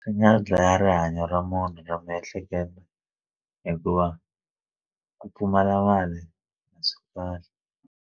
Swi nga dlaya rihanyo ra munhu ra miehleketo hikuva ku pfumala mali a swi kahle.